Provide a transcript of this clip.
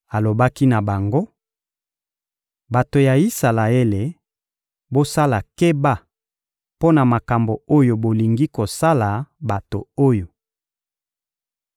Alobaki na bango: — Bato ya Isalaele, bosala keba mpo na makambo oyo bolingi kosala bato oyo.